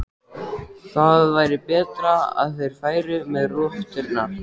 Það væri betra að þeir færu með rotturnar.